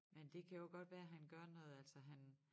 Men det kan jo godt være han gør noget altså han